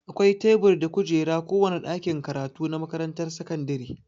Akwai tebur da kujeraa kowane ɗakin karatu na makaranrar sakandire.